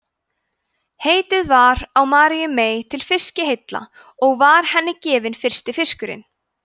heitið var á maríu mey til fiskiheilla og var henni gefinn fyrsti fiskurinn